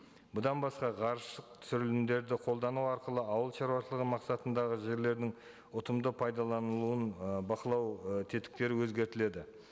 бұдан басқа ғарыш түсірілімдерді қолдану арқылы ауылшаруашылығы мақсатындағы жерлердің ұтымды пайдаланылуын ы бақылау і тетіктері өзгертіледі